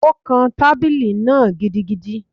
O kán tábìlì náà gidigidi